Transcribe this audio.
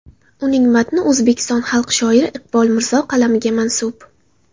Uning matni O‘zbekiston xalq shoiri Iqbol Mirzo qalamiga mansub.